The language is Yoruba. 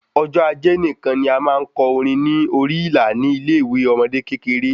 Ọjọ ajé nikan ni a máa n kọ orin ní orí ìlà ni ile ìwé ọmọde kékeré